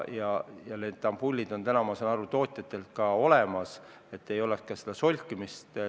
Ja need ampullid on täna, ma saan aru, tootjatel ka olemas, et ei oleks ka seda solkimist.